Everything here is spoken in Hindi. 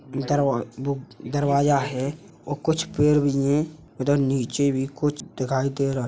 ई दरबा बुक दरवाजा है और कुछ पेड़ भी हैं। उधर नीचे भी कुछ दिखाई दे रहा है।